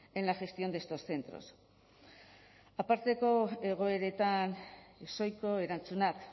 en la gestión de estos centros aparteko egoeretan ezohiko erantzunak